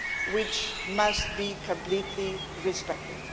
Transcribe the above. which must be completely respected.